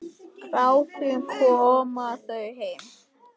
Bráðum koma þau heim.